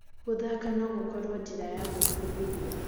Gũthaka no gũkorwo njĩra ya gwĩbundithia.